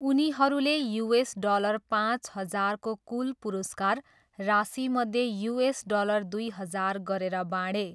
उनीहरूले US dollar पाँच हजारको कुल पुरस्कार राशिमध्ये युएस डलर दुई हजार गरेर बाँडे।